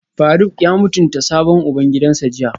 Faruk ya mutunta sabon ubangidansa jiya?